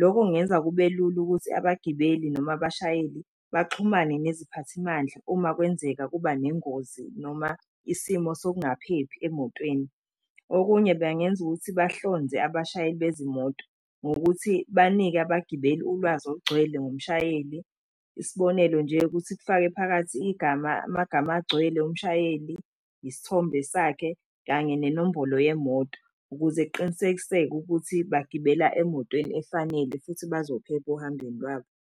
Loko kungenza kube lula ukuthi abagibeli noma abashayeli baxhumane neziphathimandla uma kwenzeka kuba nengozi noma isimo sokungaphephi emotweni. Okunye bangenza ukuthi bahlonze abashayeli bezimoto ngokuthi banike abagibeli ulwazi olugcwele ngomushayeli, isibonelo nje ukuthi kufake phakathi igama amagama agcwele omshayeli, isithombe sakhe, kanye nenombolo yemoto, ukuze kuqinisekiseke ukuthi bagibela emotweni efanele futhi bazophepha ohambeni lwabo.